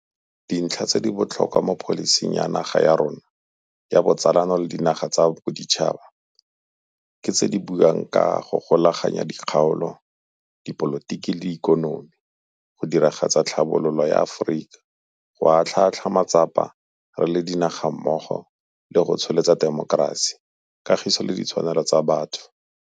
Dintlha tse di botlhokwa mo pholising ya naga ya rona ya botsalano le dinaga tsa boditšhaba ke tse di buang ka go golaganya dikgaolo, dipolotiki le ikonomi, go diragatsa tlhabololo ya Aforika, go atlhaatlhaa matsapa re le dinaga mmogo le go tsholetsa temokerasi, kagiso le ditshwanelo tsa batho.